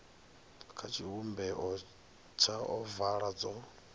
kha tshivhumbeo tsha ovala dzo